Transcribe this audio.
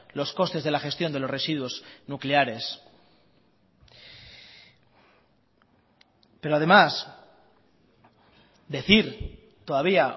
los costes de la gestión de los residuos nucleares pero además decir todavía